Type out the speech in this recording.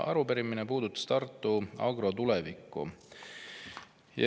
Arupärimine puudutab Tartu Agro tulevikku.